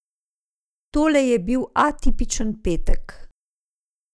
Tole je bil atipičen petek.